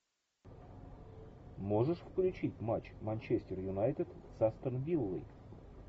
можешь включить матч манчестер юнайтед с астон виллой